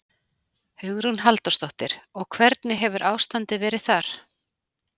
Hugrún Halldórsdóttir: Og hvernig hefur ástandið verið þar?